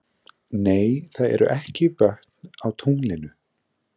Nei, það eru ekki vötn á tunglinu.